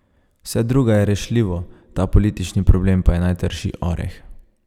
Vse drugo je rešljivo, ta politični problem pa je najtrši oreh.